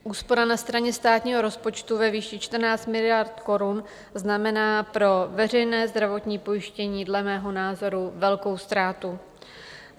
Úspora na straně státního rozpočtu ve výši 14 miliard korun znamená pro veřejné zdravotní pojištění dle mého názoru velkou ztrátu.